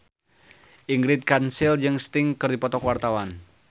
Ingrid Kansil jeung Sting keur dipoto ku wartawan